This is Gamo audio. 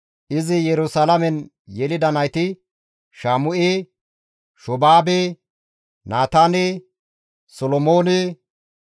Izi Yerusalaamen yelida nayti, Shaamu7e, Shoobaabe, Naataane, Solomoone,